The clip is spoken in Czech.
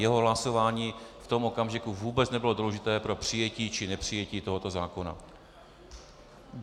Jeho hlasování v tom okamžiku vůbec nebylo důležité pro přijetí či nepřijetí tohoto zákona.